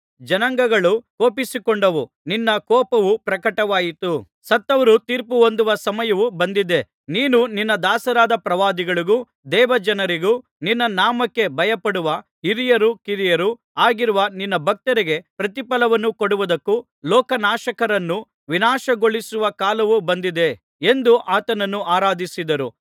ಜನಾಂಗಗಳು ಕೋಪಿಸಿಕೊಂಡವು ನಿನ್ನ ಕೋಪವೂ ಪ್ರಕಟವಾಯಿತು ಸತ್ತವರು ತೀರ್ಪುಹೊಂದುವ ಸಮಯವು ಬಂದಿದೆ ನೀನು ನಿನ್ನ ದಾಸರಾದ ಪ್ರವಾದಿಗಳಿಗೂ ದೇವಜನರಿಗೂ ನಿನ್ನ ನಾಮಕ್ಕೆ ಭಯಪಡುವ ಹಿರಿಯರೂ ಕಿರಿಯರೂ ಆಗಿರುವ ನಿನ್ನ ಭಕ್ತರಿಗೆ ಪ್ರತಿಫಲವನ್ನು ಕೊಡುವುದಕ್ಕೂ ಲೋಕನಾಶಕರನ್ನು ವಿನಾಶಗೊಳಿಸುವ ಕಾಲವು ಬಂದಿದೆ ಎಂದು ಆತನನ್ನು ಆರಾಧಿಸಿದರು